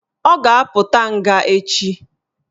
Ọ ga-apụta nga echi